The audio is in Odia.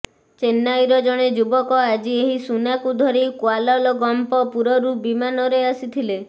ଚେନ୍ନାଇର ଜଣେ ଯୁବକ ଆଜି ଏହି ସୁନା ଧରି କ୍ୱାଲାଲଗମ୍ପପୁରରୁ ବିମାନରେ ଆସିଥିଲେ